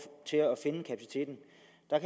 at